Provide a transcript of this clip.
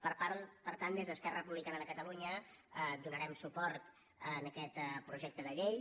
per tant des d’esquerra republicana de catalunya donarem suport a aquest projecte de llei